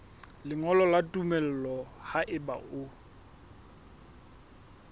lengolo la tumello haeba o